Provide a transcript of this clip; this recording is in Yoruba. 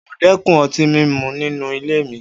O óò dé̩kun o̩tí mímu nínú ilé mi!